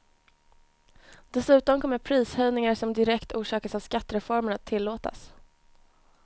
Dessutom kommer prishöjningar som direkt orsakas av skattereformen att tillåtas.